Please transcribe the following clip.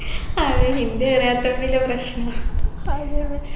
അതെ ഹിന്ദി അറിയാത്തത് വലിയ പ്രശ്നാ